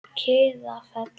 Kiðafelli